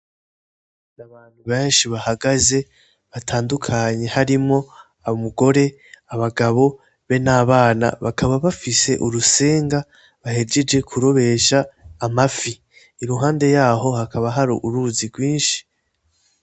Abantu beshi bahagaze batandukanye harimwo umugore, abagabo be n'abana bakaba bafise urusenga bahejeje kurobesha amafi iruhande yaho hakaba hari uruzi rwinshi.